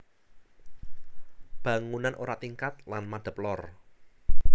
Bangunan ora tingkat lan madep lor